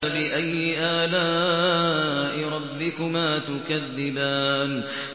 فَبِأَيِّ آلَاءِ رَبِّكُمَا تُكَذِّبَانِ